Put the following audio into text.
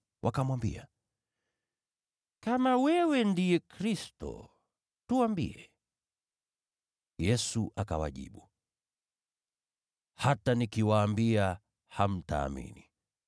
Wakamwambia, “Kama wewe ndiye Kristo, tuambie.” Yesu akawajibu, “Hata nikiwaambia hamtaamini.